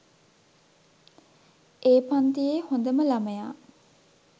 ඒ පන්තියේ හොඳම ළමයා.